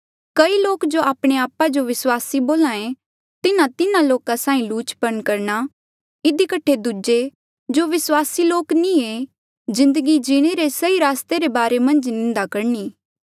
कई लोक जो आपणे आपा जो विस्वासी बोल्हे तिन्हा तिन्हा लोका साहीं लुचपन करणा इधी कठे दूजे जो विस्वासी लोक नी ऐें जिन्दगी जीणे रे सही रस्ते रे बारे मन्झ निंदा करणी